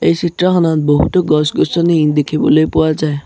এই চিত্ৰখনত বহুতো গছ-গছনি দেখিবলৈ পোৱা যায়।